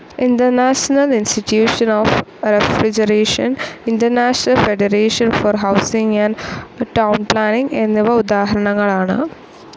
International institution of refrigeration, international federation for housing and town planning എന്നിവ ഉദാഹരണങ്ങളാണ്.